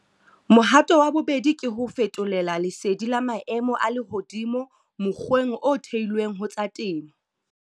Mohato wa bobedi ke ho fetolela lesedi la maemo a lehodimo mokgweng o theilweng ho tsa temo.